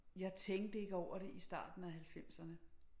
Jeg tænkte ikke over det i starten af halvfemserne